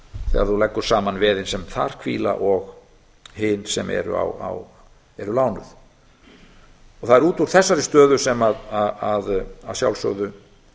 þegar þú leggur saman veðin sem þar hvíla og hin sem eru lánuð það er út úr þessari stöðu sem að sjálfsögðu